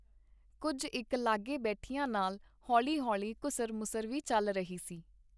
ਕੁੱਝ ਇੱਕ ਲਾਗੇ ਬੈਠਿਆਂ ਨਾਲ ਹੌਲੀ ਹੌਲੀ ਘੁਸਰ ਮੁਸਰ ਵੀ ਚੱਲ ਰਹੀ ਸੀ.